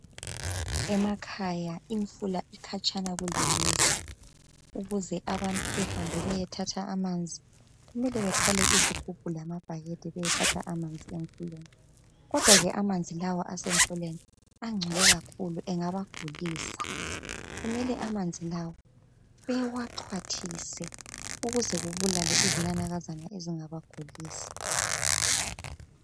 Emakhaya imfula ikhatshana kulemizi , ukuze abantu behambe beyethatha amanzi kumele bethwale izigubhu lamabhakede beyethatha amanzi emfuleni kodwa ke amanzi lawa asemfuleni angcole kakhulu engabagulisa , kumele amanzi lawa bewaxhwathise ukuze kubulale izinanakazana ezingabagulisa